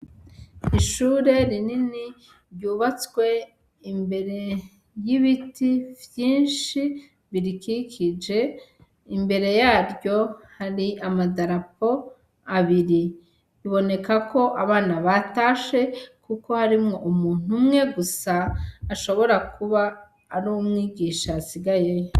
Ishure rinini ryubatswe imbere y'ibiti vyinshi birikikije, imbere yaryo hari amadarapo abiri, biboneka ko abana batashe kuko harimwo umuntu umwe gusa ashobora kuba ari umwigisha yasigayeyo.